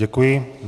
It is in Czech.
Děkuji.